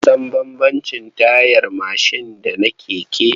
Mun san bambamcin tayar mashin da na keke.